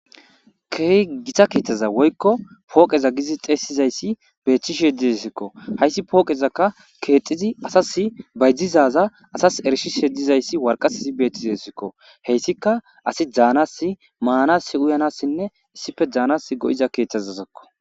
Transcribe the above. keeh gita keeththaza woykko pooqeza gizi xeesizayssi beethchish diesikko hayssi pooqezakka keexxizi asas baydizaza asas erishish heddizayssi warqasisi beeththizesikko heyssika asi dzaanas maanas uyanassinne issife daanas go7iza keeththazazakko